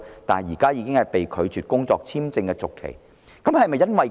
然而，他現在申請工作簽證續期卻被拒。